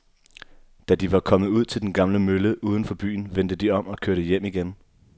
Da de var kommet ud til den gamle mølle uden for byen, vendte de om og kørte hjem igen.